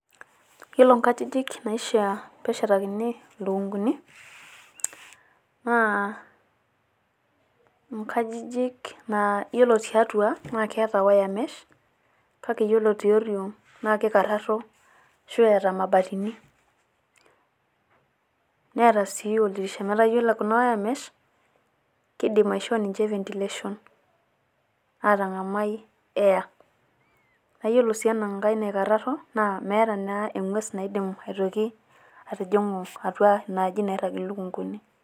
Yiolo nkajijik naishia neshetakini lukunguni naa nkajijik naa yiolo tiatua naa keeta wiremesh. Kake ore tioriong naa kikarraro ashu eeta mabatini neeta sii oldirisha. Metaa yiolo kuna wiremesh keidim aishoo ninche ventilation aatang`amai air. Naa iyiolo sii ena nkae naikarraro naa meeta naa eng`ues naidim aitoki atijing`u atua ina aji nairrag lukunguni.